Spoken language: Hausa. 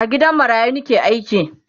a gidan marayu Nike aiki